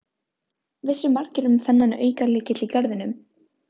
Vissu margir um þennan aukalykil í garðinum?